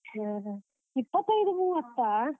ಹ ಹಾ, ಇಪ್ಪತೈದು ಮೂವತ್ತಾ?